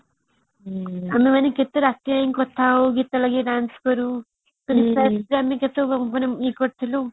ଆମେ ମାନେ କେତେ ରାତି ପର୍ଯନ୍ତ କଥା ହଉ ଆଉ ଗୀତ ଲଗେଇକି dance କରୁ ଇଏ କରୁଥିଲୁ